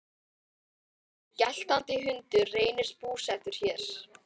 Hinn geltandi hundur reynist búsettur hér.